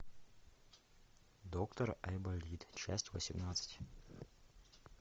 доктор айболит часть восемнадцать